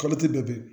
bɛɛ